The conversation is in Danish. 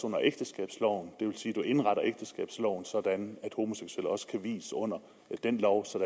under ægteskabsloven det vil sige man indretter ægteskabsloven sådan at homoseksuelle også kan vies under den lov så